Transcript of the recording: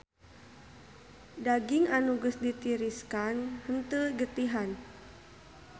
Daging anu geus ditiriskan henteu getihan.